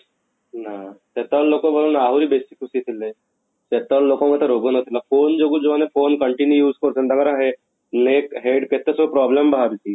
ନା ସେତେବେଳେ ଲୋକ ବରଂ ଆହୁରି ବେଶି ଖୁସି ଥିଲେ ସେତେବେଳେ ଲୋକ ଙ୍କୁ ଏତେ ରୋଗ ନଥିଲା phone ଯୋଗୁଁ ଜଉମାନେ continuous phone use କରୁଛନ୍ତି ତାଙ୍କର neck head କେତେ ସବୁ problem ବାହାରୁଛି